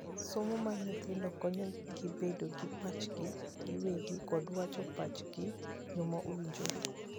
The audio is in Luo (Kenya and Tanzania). Somo mar nyithindo konyo gi bedo gi pachgi giwegi kod wacho pacho gi yoo ma owinjore.